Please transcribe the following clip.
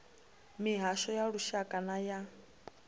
mihasho ya lushaka na ya